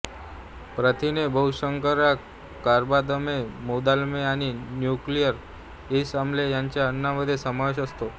प्रथिने बहुशर्करा कर्बोदके मेदाम्ले आणि न्यूक्लि इक आम्ले याचा अन्नमध्ये समावेश असतो